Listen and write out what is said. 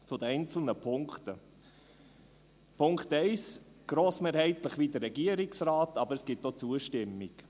Zu den einzelnen Punkten: Punkt 1, grossmehrheitlich wie der Regierungsrat, aber es gibt auch Zustimmung.